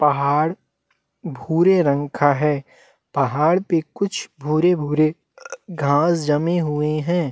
पहाड़ भूरे रंग का है पहाड़ पे कुछ भूरे - भूरे घास जमे हुए है।